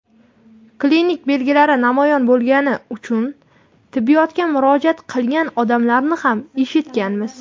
klinik belgilari namoyon bo‘lgani uchun tibbiyotga murojaat qilgan odamlarni ham eshitganmiz.